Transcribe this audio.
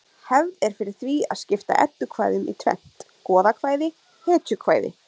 Hefð er fyrir því að skipta eddukvæðum í tvennt: goðakvæði hetjukvæði